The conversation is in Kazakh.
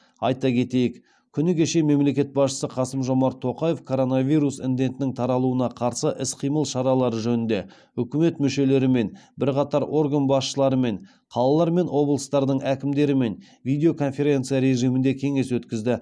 айта кетейік күні кеше мемлекет басшысы қасым жомарт тоқаев коронавирус індетінің таралуына қарсы іс қимыл шаралары жөнінде үкімет мүшелерімен бірқатар орган басшыларымен қалалар мен облыстардың әкімдерімен видеоконференция режимінде кеңес өткізді